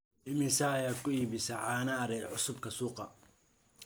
imise ayaa ku iibisa caano ari cusubka suuqa